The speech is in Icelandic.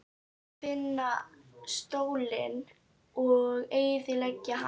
Það varð að finna stólinn og eyðileggja hann.